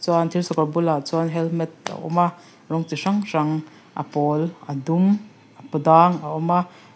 thir sakawr bulah chuan helmet a awm a rawng chi hrang hrang a pawl a dum a paw dang a awm a.